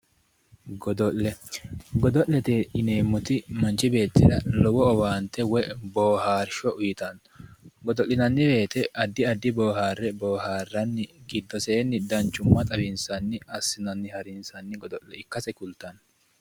Godo'le. Godo'lete yineemmoti manchi beettira lowo owaante woyi boohaarsho uyitanno. Godo'linanni woyite addi addi boohaarre boohaarranni giddoseenni danchumma xawinsanni assinanni harinsanni godo'le ikkase kultanno.